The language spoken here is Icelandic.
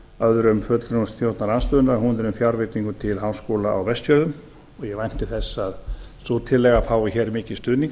öðrum fulltrúum stjórnarandstöðunnar hún er um fjárveitingu til háskóla á vestfjörðum og ég vænti þess að sú tillaga fái hér mikinn stuðning